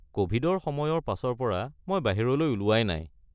ক’ভিডৰ সময়ৰ পাছৰ পৰা মই বাহিৰলৈ ওলোৱাই নাই।